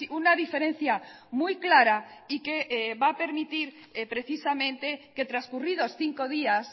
una diferencia muy clara y que va a permitir precisamente que transcurridos cinco días